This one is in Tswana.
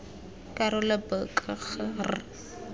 karolo b k g r